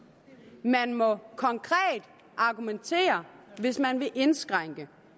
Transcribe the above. man må konkret argumentere hvis man vil indskrænke